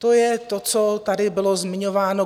To je to, co tady bylo zmiňováno.